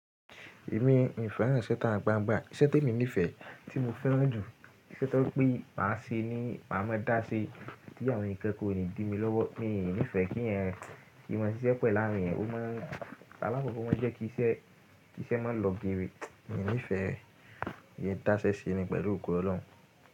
Èmi, mì fẹ́ràn iṣẹ itagbangba. Iṣẹ́ tí mo nífẹ̀ẹ́, tí mo fẹ́ràn jù, iṣẹ́ tó pé máa ṣe ni máa mọ dáṣẹ, tí àwọn èèyàn kankan ò ní dì mi lọ́wọ́. Mi ò ní ìfẹ́ kí èèyàn kí mọ ṣiṣẹ́ pẹ̀lu áwọn èèyàn, ó máa ń Alákọ̀kọ́ o máa ń jẹ́ kí iṣẹ́, kí iṣẹ́ máa lọ geere. Mi ò ní ìfẹ́, ìyẹn dáṣẹ́ ṣe ni pẹ̀lú ògo Ọlọ́run.